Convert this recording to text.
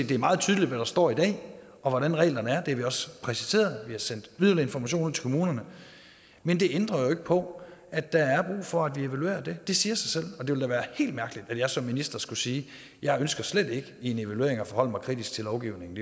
det er meget tydeligt hvad der står i dag og hvordan reglerne er det har vi også præciseret vi har sendt yderligere informationer ud til kommunerne men det ændrer jo ikke på at der er brug for at vi evaluerer det det siger sig selv og det ville da være helt mærkeligt hvis jeg som minister skulle sige jeg ønsker slet ikke i en evaluering at forholde mig kritisk til lovgivningen